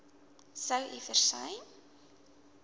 sou u versuim